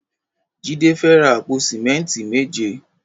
Jide fè rá àpó sìmẹ̀mtí méjé